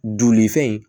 Joli fɛn in